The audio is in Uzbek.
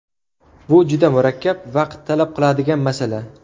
Bu juda murakkab, vaqt talab qiladigan masala.